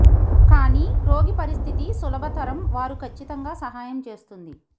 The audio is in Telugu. కానీ రోగి పరిస్థితి సులభతరం వారు ఖచ్చితంగా సహాయం చేస్తుంది